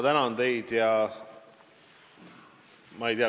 Tänan teid!